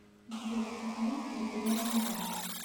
сбер сахалин территориальный банк